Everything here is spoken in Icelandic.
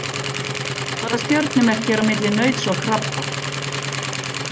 Hvaða stjörnumerki er á milli nauts og krabba?